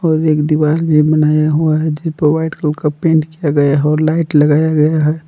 और एक दीवार में बनाया हुआ है जिसपर व्हाइट कलर का पेंट किया गया है और लाइट लगाया गया है।